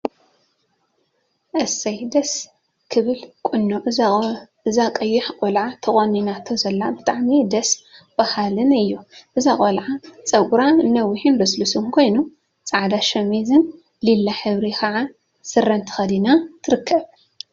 እሰይ! ደስ ክብል ቁኖ እዛ ቀያሕ ቆልዓ ተቆኒናቶ ዘላ ብጣዕሚ ደስ… በሃሊን እዩ፡፡ እዛ ቆልዓ ፀጉራ ነዊሕን ልስሉስን ኮይኑ፤ ፃዕዳ ሸሚዝን ሊላ ሕብሪ ከዓ ስረን ተከዲና ትርከብ፡፡